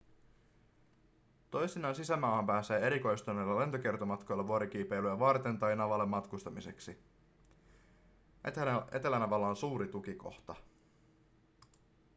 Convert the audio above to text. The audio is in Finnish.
toisinaan sisämaahan pääsee erikoistuneilla lentokiertomatkoilla vuorikiipeilyä varten tai navalle matkustamiseksi etelänavalla on suuri tukikohta